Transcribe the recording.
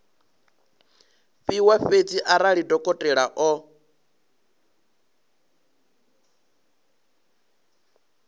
fhiwa fhedzi arali dokotela o